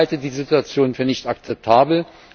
Ich halte die Situation für nicht akzeptabel.